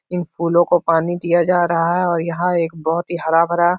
इन फूलों को पानी दिया जा रहा है और यहाँ एक बहोत ही हरा भरा --